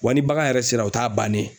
Wa ni bagan yɛrɛ sera o t'a bannen ye.